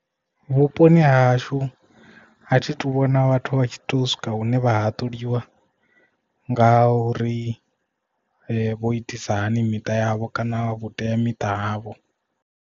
Vhuponi hahashu a thi tu vhona vhathu vha tshi to swika hune vha haṱuliwa nga uri vho itisa hani miṱa yavho kana vhuteamiṱa havho.